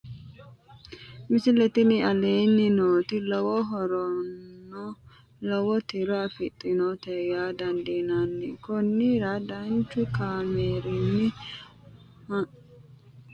misile tini aleenni nooti lowo horonna lowo tiro afidhinote yaa dandiinanni konnira danchu kaameerinni haa'noonnite biiffannote tini misile dancha ikkase buunxanni bunu xorshshine he'noonnihu kolishshu leelanni nooe